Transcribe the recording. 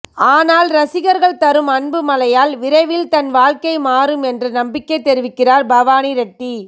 ஆனால் ரசிகர்கள் தரும் அன்பு மழையால் விரைவில் தன் வாழ்க்கை மாறும் என்று நம்பிக்கை தெரிவிக்கிறார் பவானி ரெட்டி